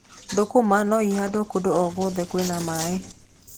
Thũkũma no ihandwo kũndũ o guothe kwĩna maaĩ.